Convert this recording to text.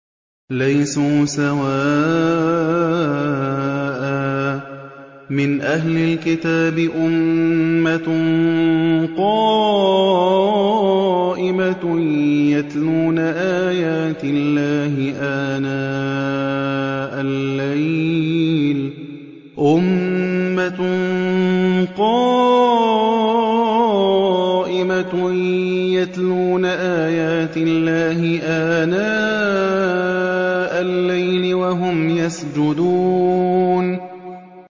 ۞ لَيْسُوا سَوَاءً ۗ مِّنْ أَهْلِ الْكِتَابِ أُمَّةٌ قَائِمَةٌ يَتْلُونَ آيَاتِ اللَّهِ آنَاءَ اللَّيْلِ وَهُمْ يَسْجُدُونَ